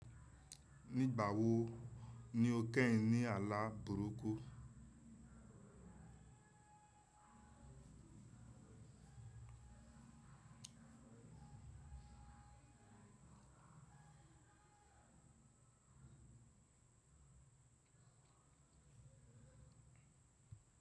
Nígbà wo ni o kẹ́yin ní ààlà burúkú?